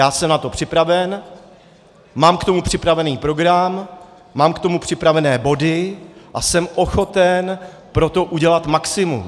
Já jsem na to připraven, mám k tomu připravený program, mám k tomu připravené body a jsem ochoten pro to udělat maximum.